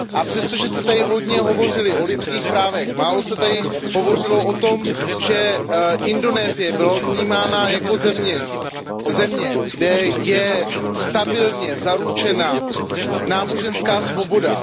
Přestože se zde hodně hovořilo o lidských právech, málo se tady hovořilo o tom, že Indonésie byla vnímána jako země, kde je stabilně zaručena náboženská svoboda.